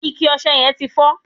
ike ọsẹ yen ti fo